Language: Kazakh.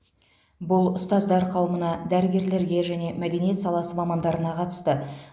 бұл ұстаздар қауымына дәрігерлерге және мәдениет саласы мамандарына қатысты